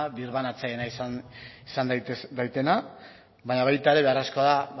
birbanatzailea izan daitena baina baita ere beharrezkoa da